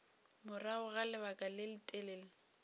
morago ga lebaka le letelele